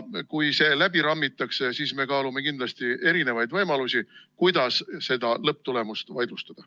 Kui see läbi rammitakse, siis me kaalume kindlasti erinevaid võimalusi, kuidas seda lõpptulemust vaidlustada.